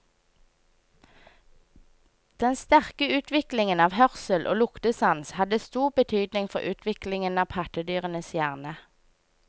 Den sterke utviklingen av hørsel og luktesans hadde stor betydning for utviklingen av pattedyrenes hjerne.